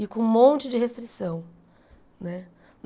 E com um monte de restrição né.